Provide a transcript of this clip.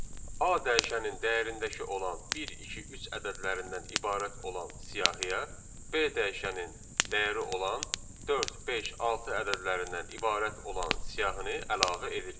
A dəyişəninin dəyərindəki olan 1, 2, 3 ədədlərindən ibarət olan siyahıya B dəyişəninin dəyəri olan 4, 5, 6 ədədlərindən ibarət olan siyahını əlavə edirik.